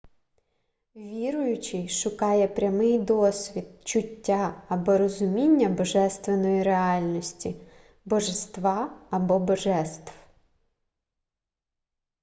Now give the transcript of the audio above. віруючий шукає прямий досвід чуття або розуміння божественної реальності/божества або божеств